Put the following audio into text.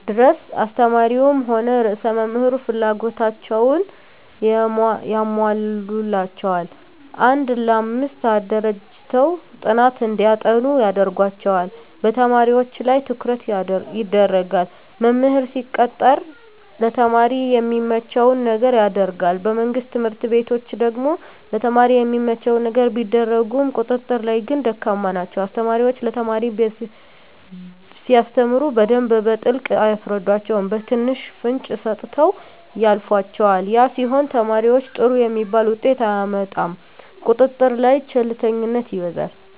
ድረስ አስተማሪዉም ሆነ ርዕሰ መምህሩ ፍላጎታቸዉን ያሟሉላቸዋል አንድ ለአምስት አደራጅተዉ ጥናት እንዲያጠኑ ያደርጓቸዋል በተማሪዎች ላይ ትኩረት ይደረጋል መምህር ሲቀጠር ለተማሪ የሚመቸዉን ነገር ያደርጋል በመንግስት ትምህርት ቤቶች ደግሞ ለተማሪ የሚመቸዉን ነገር ቢያደርጉም ቁጥጥር ላይ ግን ደካማ ናቸዉ አስተማሪዎች ለተማሪ ሲያስተምሩ በደንብ በጥልቀት አያስረዷቸዉም በትንሹ ፍንጭ ሰጥተዉ ያልፏቸዋል ያ ሲሆን ተማሪዉ ጥሩ የሚባል ዉጤት አያመጣም ቁጥጥር ላይ ቸልተኝነት ይበዛል